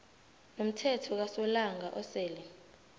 nomthelo kasolanga osele